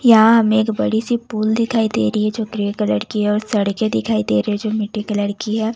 यहां हमें एक बड़ी सी पुल दिखाई दे रही है जो ग्रे कलर की है और सड़कें दिखाई दे रहे जो मिट्टी कलर की है।